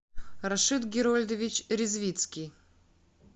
рашид герольдович резвицкий